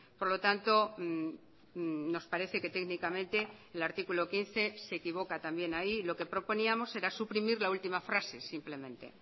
por lo tanto nos parece que técnicamente el artículo quince se equivoca también ahí lo que proponíamos era suprimir la última frase simplemente